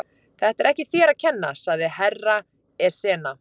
Þetta er ekki þér að kenna, sagði Herra Ezana.